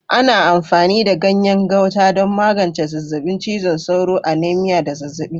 Ana amfani da ganyen Gauta don magance zazzabin cizon sauro, anemia, da zazzabi.